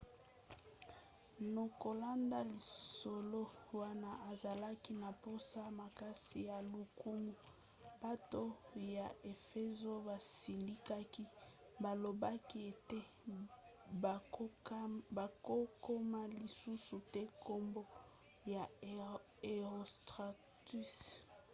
na kolanda lisolo wana azalaki na mposa makasi ya lokumu. bato ya efezo basilikaki balobaki ete bakokoma lisusu te nkombo ya herostratus